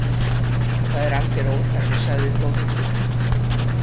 Það er algjör óþarfi, sagði Þórhildur.